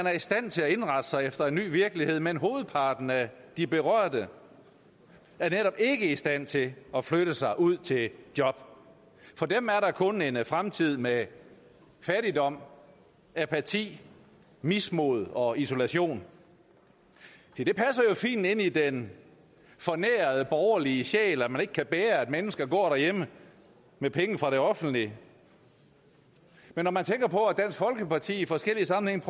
er i stand til at indrette sig efter en ny virkelighed men hovedparten af de berørte er netop ikke i stand til at flytte sig ud til et job for dem er der kun en fremtid med fattigdom apati mismod og isolation se det passer jo fint ind i den fornærede borgerlige sjæl at man ikke kan bære at mennesker går derhjemme med penge fra det offentlige men når man tænker på at dansk folkeparti i forskellige sammenhænge